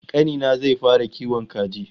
Kani na zai fara kiwon kaji